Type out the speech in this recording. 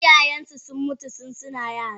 Iyayensu sun mutu tun suna yan yara.